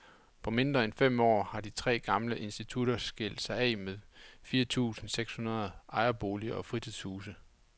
På mindre end fem år har de tre gamle institutter skilt sig af med fire tusinde seks hundrede ejerboliger og fritidshuse.